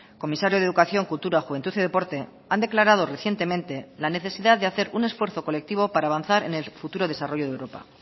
comisario de educación cultura juventud y deporte han declarado recientemente la necesidad de hacer un esfuerzo colectivo para avanzar en el futuro desarrollo de europa